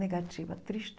Negativa, triste.